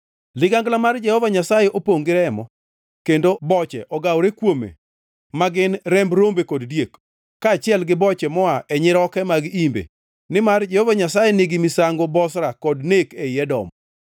Ligangla mar Jehova Nyasaye opongʼ gi remo, kendo boche ogawore kuome ma gin, remb rombe kod diek, kaachiel gi boche moa e nyiroke mag imbe. Nimar Jehova Nyasaye nigi misango Bozra kod nek ei Edom.